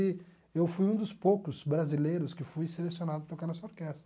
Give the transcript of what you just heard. E eu fui um dos poucos brasileiros que fui selecionado para tocar nessa orquestra.